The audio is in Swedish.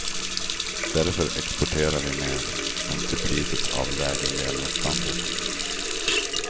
Därför exporterar vi mer, men till priset av lägre levnadsstandard.